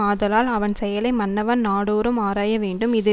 ஆதலான் அவன் செயலை மன்னவன் நாடோறும் ஆராய வேண்டும் இது